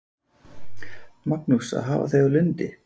Magnús: Að hafa þau á Lundi?